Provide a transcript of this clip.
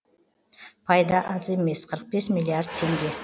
пайда аз емес қырық бес миллиард теңге